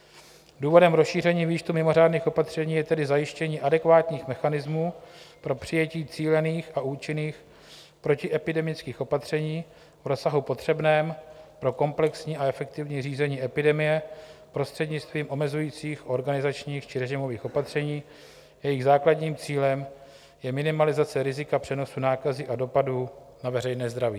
Důvodem rozšíření výčtu mimořádných opatření je tedy zajištění adekvátních mechanismů pro přijetí cílených a účinných protiepidemických opatření v rozsahu potřebném pro komplexní a efektivní řízení epidemie prostřednictvím omezujících, organizačních či režimových opatření, jejichž základním cílem je minimalizace rizika přenosu nákazy a dopadů na veřejné zdraví.